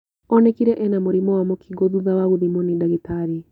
Onekire ena mũrimũ wa mũkingo thutha wa gũthimwo nĩ ndagĩtarĩ